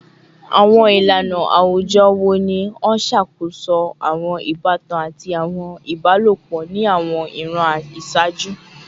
Awọn ilana awujọ wo ni o ṣakoso awọn ibatan ati awọn ibalopọ ni awọn iran iṣaaju?